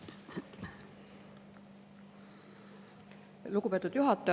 Palun!